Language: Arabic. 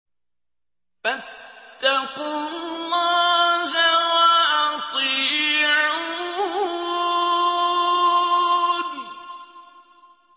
فَاتَّقُوا اللَّهَ وَأَطِيعُونِ